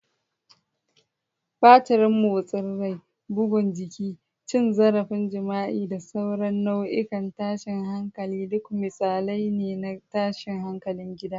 Batirin motsin rai, bugun jiki, cin zarafin jima'i, da sauran nau'ikan tashin hankali duk misalai ne na tashin hankalin gida.